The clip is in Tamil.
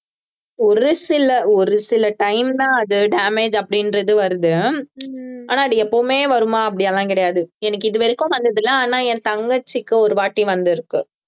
ஒரு சில ஒரு சில time தான் அது damage அப்படின்றது வருது ஆனால் அது எப்பவுமே வருமா அப்படி எல்லாம் கிடையாது எனக்கு இது வரைக்கும் வந்ததில்லை ஆனால் என் தங்கச்சிக்கு ஒரு வாட்டி வந்திருக்கு